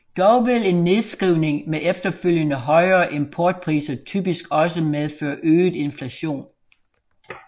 Dog vil en nedskrivning med efterfølgende højere importpriser typisk også medføre øget inflation